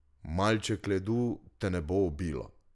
Malček ledu te ne bo ubilo.